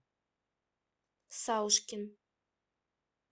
саушкин